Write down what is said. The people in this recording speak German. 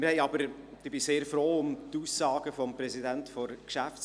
Ich bin sehr froh um die Aussagen des Präsidenten der GPK.